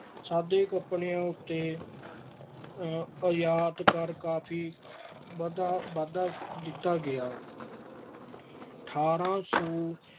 ਸਾਦੇ ਕੱਪੜਿਆਂ ਉੱਤੇ ਆਯਾਤ ਕਰ ਕਾਫ਼ੀ ਵਧਾ ਅਹ ਵਧਾ ਦਿੱਤਾ ਗਿਆ। ਅਠਾਰਾਂ ਸੌ